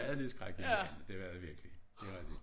Ja det skrækindjagende det var det virkelig det rigtig